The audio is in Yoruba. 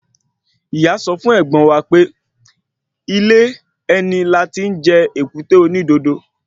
Ìyá sọ fún ẹ̀gbọ́n wa pé ilé ẹni láti jẹ èkúté onídodo